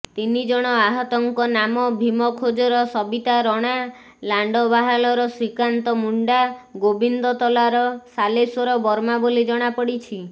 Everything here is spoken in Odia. ତିନିଜଣ ଆହତଙ୍କ ନାମ ଭୀମଖୋଜର ସବିତା ରଣା ଲାଣ୍ଡବାହାଲର ଶ୍ରୀକାନ୍ତ ମୁଣ୍ଡା ଗୋବିନ୍ଦତଲାର ଶାଲେଶ୍ୱର ବର୍ମା ବୋଲି ଜଣାପଡ଼ିଛି